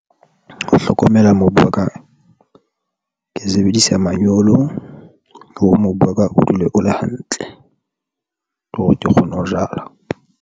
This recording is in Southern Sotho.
Ho hlokomela mobu wa ka ke sebedisa manyolo hore mobu wa ka o dule o le hantle le hore ke kgone ho jala.